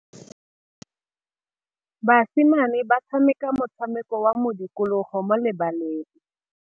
Basimane ba tshameka motshameko wa modikologô mo lebaleng.